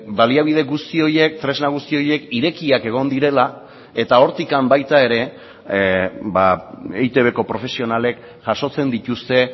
baliabide guzti horiek tresna guzti horiek irekiak egon direla eta hortik baita ere eitbko profesionalek jasotzen dituzte